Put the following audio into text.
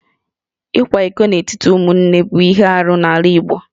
Ịkwa iko n'etiti ụmụnne bụ ihe arụ n'ala Igbo